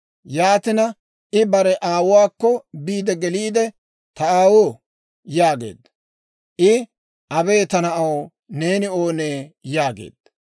Yaatina I bare aawuwaakko biide geliide, «Ta aawoo» yaageedda. I, «Abee! Ta na'aw, neeni oonee?» yaageedda.